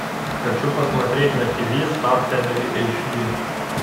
хочу посмотреть на тв стар фэмили эйч ди